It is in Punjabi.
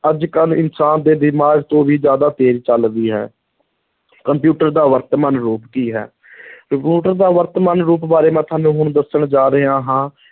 ਅੱਜ ਕੱਲ੍ਹ ਇਨਸਾਨ ਦੇ ਦਿਮਾਗ ਤੋਂ ਵੀ ਜ਼ਿਆਦਾ ਤੇਜ਼ ਚੱਲਦੀ ਹੈ ਕੰਪਿਊਟਰ ਦਾ ਵਰਤਮਾਨ ਰੂਪ ਕੀ ਹੈ ਕੰਪਿਊਟਰ ਦਾ ਵਰਤਮਾਨ ਰੂਪ ਬਾਰੇ ਮੈਂ ਤੁਹਾਨੂੰ ਹੁਣ ਦੱਸਣ ਜਾ ਰਿਹਾ ਹਾਂ,